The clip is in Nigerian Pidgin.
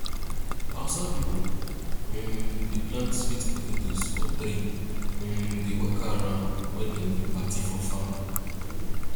hausa pipo um dey plant sweet potatoes for tray um dey waka around wen dem dey party for farm